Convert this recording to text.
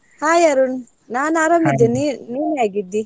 Hai Arun. ನಾನ್ ಆರಾಮಿದ್ದೇನೆ ನೀ~ ನೀನ್ ಹೇಗಿದ್ದಿ?